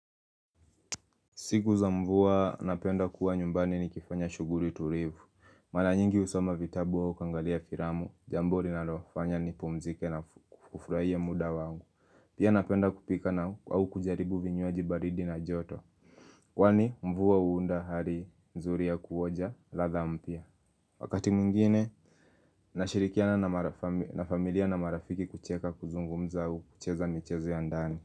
Siku za mvua, napenda kuwa nyumbani nikifanya shuguri tulivu. Mala nyingi husoma vitabu au kuangalia firamu, jambo rinalofanya nipumzike na kufurahia muda wangu. Pia napenda kupika na au kujaribu vinywaji baridi na joto. Kwani mvua una hali nzuri ya kuoja, ladha mpya. Wakati mwingine, nashirikiana na familia na marafiki kucheka kuzungumza au kucheza michezo ya ndani.